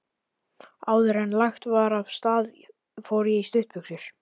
Áðuren lagt var af stað fór ég í stuttbuxur.